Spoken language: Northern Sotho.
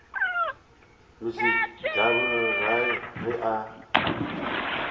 mr double rile ge a